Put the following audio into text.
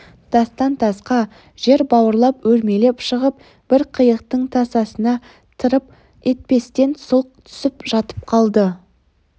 тастан-тасқа жер бауырлап өрмелеп шығып бір қияқтың тасасына тырп етпестен сұлқ түсіп жатып қалды